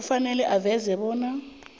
kufanele aveze bona